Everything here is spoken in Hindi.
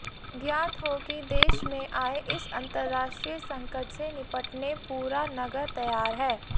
ज्ञात हो कि देश मे आये इस अंतरराष्ट्रीय संकट से निपटने पूरा नगर तैयार है